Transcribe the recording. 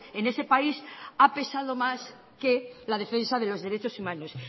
en ese país ha pesado más que la defensa de los derechos humanos